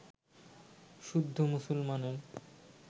শুদ্ধ মুসলমানের